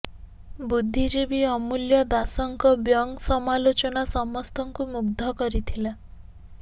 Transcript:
ବୁଦ୍ଧିଜୀବୀ ଅମୂଲ୍ୟ ଦାସଙ୍କ ବ୍ଯଗଂ ସମାଲୋଚନା ସମସ୍ତଙ୍କୁ ମୁଗ୍ଧ କରିଥିଲା